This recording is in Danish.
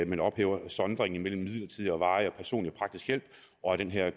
man ophæver sondringen mellem midlertidig og varig personlig praktisk hjælp og at den her